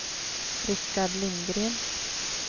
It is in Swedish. Richard Lindgren